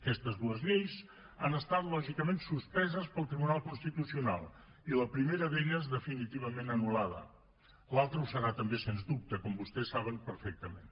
aquestes dues lleis han estat lògicament suspeses pel tribunal constitucional i la primera d’elles definitivament anul·lada l’altra ho serà també sens dubte com vostès saben perfectament